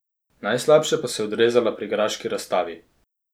Najslabše pa se je odrezala pri graški razstavi.